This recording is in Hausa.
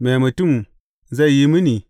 Me mutum zai yi mini?